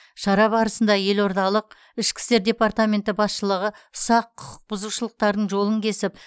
шара барысында елордалық ішкі істер департаменті басшылығы ұсақ құқық бұзушылықтардың жолын кесіп